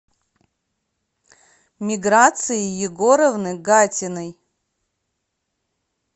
миграции егоровны гатиной